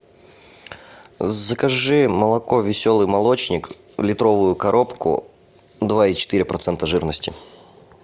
закажи молоко веселый молочник литровую коробку два и четыре процента жирности